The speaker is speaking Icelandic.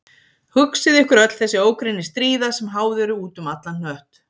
Hugsið ykkur öll þessi ógrynni stríða sem háð eru út um allan hnött.